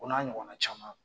O n'a ɲɔgɔnna caman